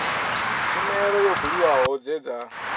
tshumelo yo buliwaho dze dza